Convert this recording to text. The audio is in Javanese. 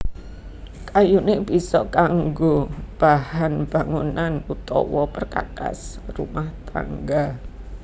Kayuné bisa kanggo bahan bangunan utawa perkakas rumah tangga